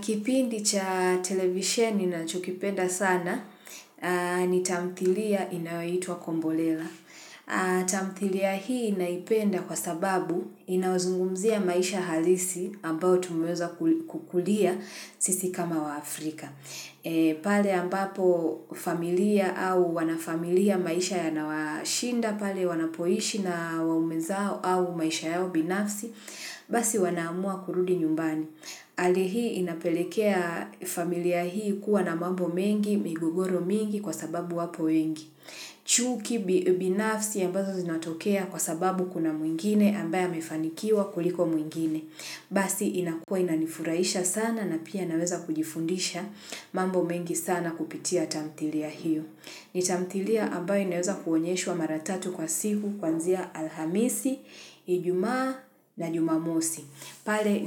Kipindi cha televisheni ninachokipenda sana ni tamthilia inayoitwa kombolela. Tamthilia hii naipenda kwa sababu inazungumzia maisha halisi ambao tumweza kukulia sisi kama wa Afrika. Pale ambapo familia au wanafamilia maisha yanawashinda pale wanapoishi na waume zao au maisha yao binafsi basi wanamua kurudi nyumbani hali inapelekea familia hii kua na mambo mengi migogoro mingi kwa sababu wapo mengi. Chuki ni unibinafsi ambazo zinatokea kwa sababu kuna mwingine ambaye amefanikiwa kuliko mwingine. Basi inakua inanifuraisha sana na pia naweza kujifundisha mambo mengi sana kupitia tamtilia hiyo. Ni tamtilia ambayo inaweza kuonyeshwa wa mara tatu kwa siku kwanzia alhamisi, ijumaa na jumamosi. Pale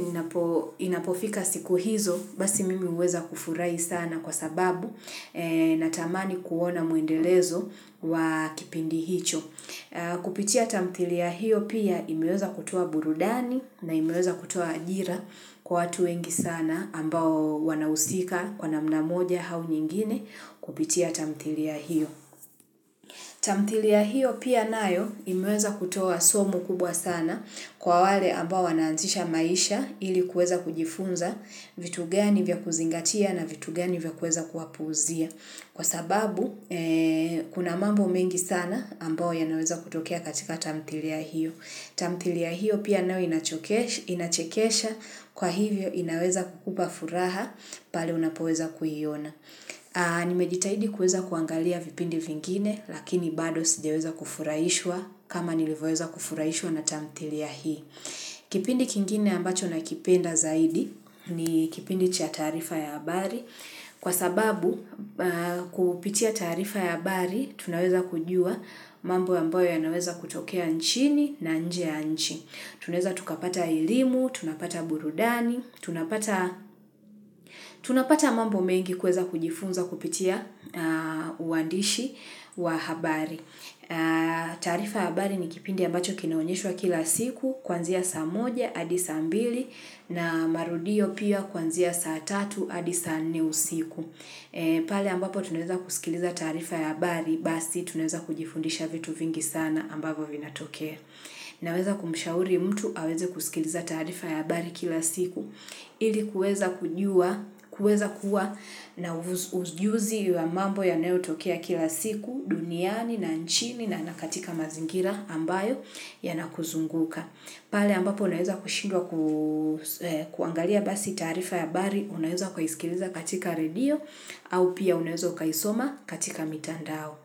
inapofika siku hizo basi mimi huweza kufurahi sana kwa sababu na tamani kuona mwendelezo wa kipindi hicho. Kupitia tamtilia hiyo piaoimeweza kutoa burudani na imeweza kutoa ajira kwa watu wengi sana ambao wanahusika kwa namna moja au nyingine kupitia tamtilia hiyo. Tamtilia hiyo pia nayo imeweza kutoa kubwa sana kwa wale ambao wanaanzisha maisha ili kuweza kujifunza vitu gani vya kuzingatia na vitu gani vya kuweza kuwapuuzia. Kwa sababu, kuna mambo mengi sana ambayo yanaweza kutokea katika tamtilia hiyo. Tamtilia ya hiyo pia nayo inachekesha kwa hivyo inaweza kukupa furaha pale unapoweza kuiyona. Nimejitahidi kuweza kuangalia vipindi vingine, lakini bado sijaweza kufurahishwa kama nilivoyeza kufurahishwa na tamtilia hii. Kipindi kingine ambacho nakipenda zaidi ni kipindi cha taarifa ya habari. Kwa sababu, kupitia tarifa ya habari, tunaweza kujua mambo ambayo yanaweza kutokea nchini na nje ya nchi. Tuneza tukapata elimu, tunapata burudani, tunapata mambo mengi kuweza kujifunza kupitia uandishi wa habari. Taarifa ya habari ni kipindi ambacho kinaonyeshwa kila siku, kuanzia saa moja, hadi saa mbili, na marudio pia kuanzia saa tatu, hadi saa nne siku. Pale ambapo tunweza kusikiliza taarifa ya habari, basi tunaweza kujifundisha vitu vingi sana ambavyo vinatokea. Naweza kumishauri mtu, aweze kusikiliza taarifa ya habari kila siku. Ili kuweza kuwa na ujuzi wa mambo yanayotokea kila siku duniani na nchini na katika mazingira ambayo yanakuzunguka. Pale ambapo unaweza kushindwa kuangalia basi taarifa ya habari, unaweza kuhisikiliza katika redio au pia unaweza ukaisoma katika mitandao.